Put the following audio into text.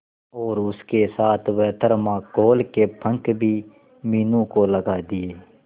और उसके साथ वह थर्माकोल के पंख भी मीनू को लगा दिए